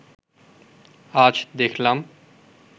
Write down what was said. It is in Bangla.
আজ দেখলাম